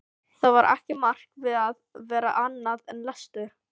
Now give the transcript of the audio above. Það var ekki margt við að vera annað en lestur.